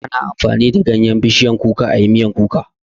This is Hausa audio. Ana amfani da ganyan bishiyar kuka ayi miyar kuka